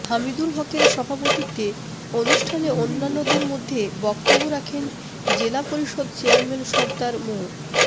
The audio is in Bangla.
হামিদুল হকের সভাপতিত্বে অনুষ্ঠানে অন্যান্যদের মধ্যে বক্তব্য রাখেন জেলা পরিষদ চেয়ারম্যান সরদার মো